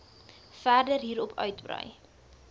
verder hierop uitbrei